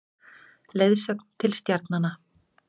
Leiðsögn til stjarnanna.